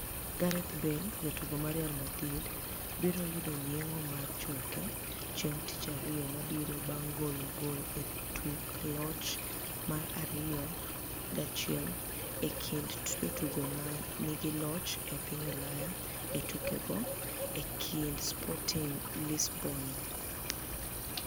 Gareth Bale Jatugo mar Real Madrid, Gareth Bale, biro yudo yenig'o mar choke chienig' Tich Ariyo mabiro banig' golo gol e tuk loch mar 2-1 e kinid jotugo ma niigi loch e piniy Ulaya e tukego e kinid Sportinig Lisboni.